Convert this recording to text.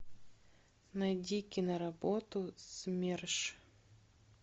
найди киноработу смерш